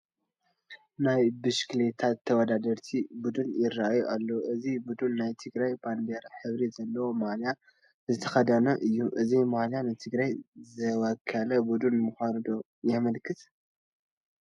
ናይ ብሽክሌታ ተወዳደርቲ ቡዱን ይርአ ኣሎ፡፡ እዚ ቡዱን ናይ ትግራይ ባንዲራ ሕብሪ ዘለዎ ማልያ ዝተኸደነ እዩ፡፡ እዚ ማልያ ንትግራይ ዝወከለ ቡድን ምዃኑ ዶ የመልክት?